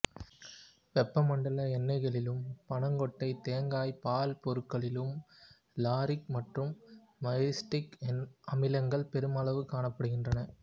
வெப்பமண்டல எண்ணெய்களிலும் பனங்கொட்டை தேங்காய் பால் பொருட்களிலும் லாரிக் மற்றும் மைரிஸ்டிக் அமிலங்கள் பெருமளவுக் காணப்படுகின்றன